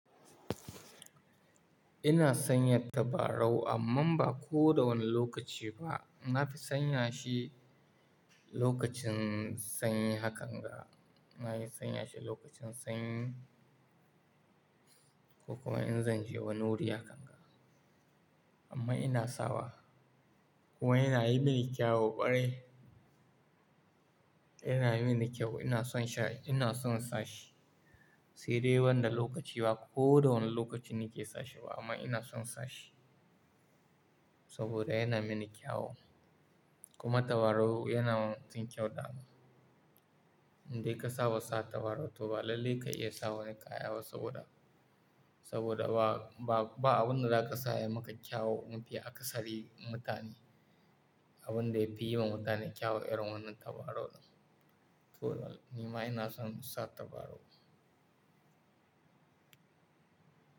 Ina sanya tabarau amma ba ko da wane lokaci ba. Na fi sanya shi lokacin sanyi hakan ga, na yi sanya shi lokacin sanyi ko kuma in zan je wani wuri hakan ga. Amma ina sawa, kuma yana yi mini kyau ƙwarai. Yana mini kyau, ina son sha, ina son sa shi. Sai dai wanda lokaci ba ko da wane lokaci na ke sa shi ba amma ina son sa shi. Saboda yana mini kyau kuma tabarau yana yin kyau da mu. Indai ka saba sa tabarau to ba lallai ka iya sawa wani kaya ba saboda, saboda ba, ba, ba abunda zaka sa ya maka kyau mafiya akasari mutane. Abunda ya fi yi wa mutane kyau irin wannan tabarau ne. To, nima ina son sa tabarau.